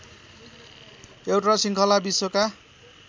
एउटा शृङ्खला विश्वका